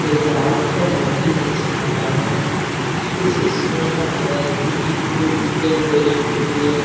ये ग्राउंड बहुत ही अच्छा लग रहा है किसी स्कूल का लग रहा है क्योंकि जो इसमें बेस्ट दिखरी है।